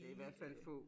Det i hvert fald få